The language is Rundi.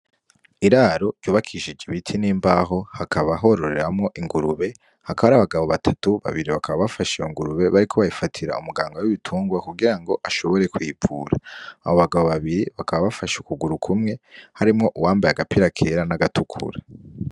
Iraro ryubakishije ibiti n'imbaho hakaba hororeramo ingurube hakabari abagabo batatu babiri bakaba bafasha iyongurube bari ko bayifatira umugango w'ibitungwa kugira ngo ashobore kwivura abo bagabo babiri bakaba bafasha ukuguru kumwe harimwo uwambaye agapira kera n'agatukura.